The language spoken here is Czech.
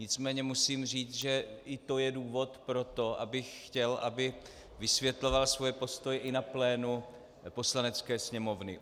Nicméně musím říct, že i to je důvod pro to, abych chtěl, aby vysvětloval svoje postoje i na plénu Poslanecké sněmovny.